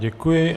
Děkuji.